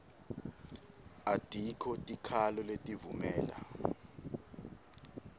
atikho tikhalo letivumela